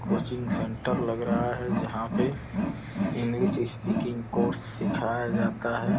Coaching centre लग रहा है जहाँ पे इंगलिश स्पीकिंग कोर्स सिखाया जाता है।